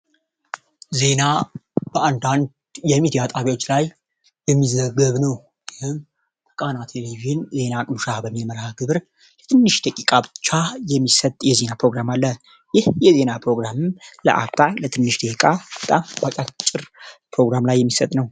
ዜና በአንዳ1ንድ የሚት የአጣቢዎች ላይ የሚዘገብ ነው ህም ቃና ቴሌቪዥን ዜና አቅኑሻ በሚመራሃ ግብር የትንሽ ተቂቃ ብቻ የሚሰጥ የዜና ፕሮግራም አለ ይህ የዜና ፕሮግራም ለአታ ለትንሽ ደቂቃ በጣም አቂጭር ፕሮግራም ላይ የሚሰጥ ነው፡፡